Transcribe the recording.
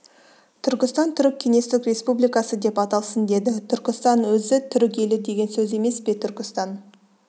түркістан түрік кеңестік республикасы деп аталсын деді түркістанның өзі түрік елі деген сөз емес пе түркістан